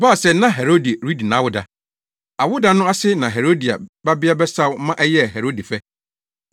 Ɛbaa sɛ na Herode redi nʼawoda. Awoda no ase na Herodia babea bɛsaw ma a ɛyɛɛ Herode fɛ.